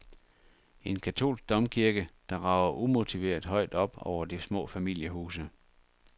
En katolsk domkirke, der rager umotiveret højt op over de små familiehuse.